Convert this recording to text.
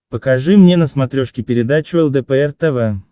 покажи мне на смотрешке передачу лдпр тв